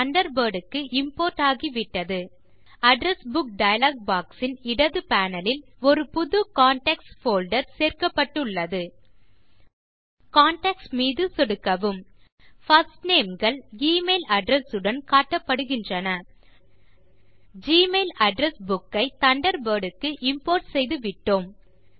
Thunderbird க்கு import ஆகிவிட்டது address book dialog box இன் இடது பேனல் லில் ஒரு புது கான்டாக்ட்ஸ் போல்டர் சேர்க்கப்பட்டு உள்ளது கான்டாக்ட்ஸ் மீது சொடுக்கவும் பிர்ஸ்ட் நேம் கள் எமெயில் அட்ரெஸ் உடன் காட்டப்படுகின்றன ஜிமெயில் அட்ரெஸ் புக் ஐ தண்டர்பர்ட் க்கு இம்போர்ட் செய்து விட்டோம்